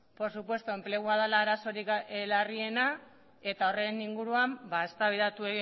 por supuesto enplegua dela arazorik larriena eta horren inguruan eztabaidatu